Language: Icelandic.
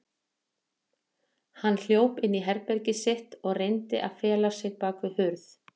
Hann hljóp inn í herbergið sitt og reyndi að fela sig bakvið hurð.